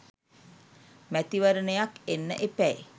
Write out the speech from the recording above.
මැතිවරණයක් එන්න එපැයි!